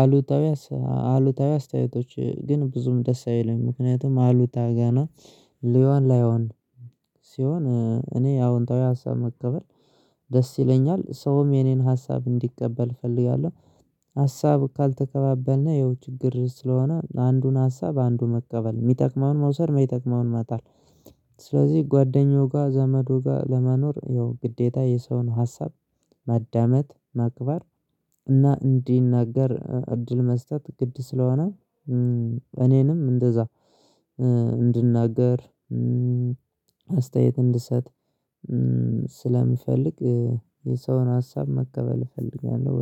አሉታዊ አሉታዊ አስተያየቶች ግን ብዙም ደስ አይለኝም። ምክንያቱም አሉታዊ ገና ሊዮን ላይሆን ሲሆን እኔ አዎንታዊ ሀሳብ መቀበል ደስ ይለኛል ሰውም የኔን ሀሳብ እንዲቀበል እፈልጋለሁ። ሀሳብ ካልተከባበልነው ችግር ስለሆነ አንዱን ሀሳብ አንዱን መቀበል የሚጠቅመውን መውሰድ የሚጠቅመውን መጣል። ጓደኛው ጋር ዘመዱ ጋር ለመኖር ይኸው ግዴታ የሰውን ሀሳብ መዳመጥ መክበር እና እንዲናገር እድል መስጠት ግድ ስለሆነ። እኔንም እንደዛ እንድናገር አስተያየት እንድሰጥ ስለምፈልግ የሰውን ሀሳብ መቀበል እፈልጋለሁ